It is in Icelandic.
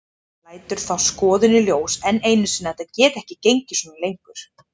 Lætur þá skoðun í ljós enn einu sinni að þetta geti ekki gengið svona lengur.